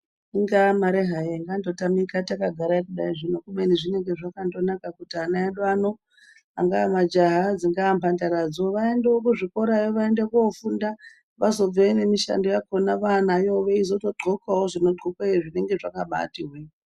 Ingaa mari hayo ingandotamika takagara kudai zvino, kubeni zvinenge zvakandonaka kuti ana edu angaa majaha, dzingaa mhandaradzo, vaendewo kuzvikorayo, vaende kofunda vazobveyo nemishando yakhona vaanayowo, veitozodhxokawo zvinodhxokweyo, zvinenge zvakabaati hwee.